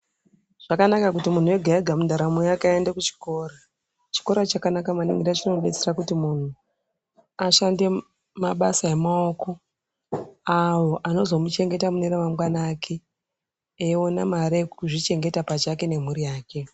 Zvakanaka kuti muntu ega-ega mundaramo yake aende kuchikora . Chikora chakanaka maningi ngekuti chinodetsera kuti munhu ashande mabasa emaoko, awo anozomuchengeta mune ramangwana ake, eiona mare yekuzvichengeta pachake nemhuri yake.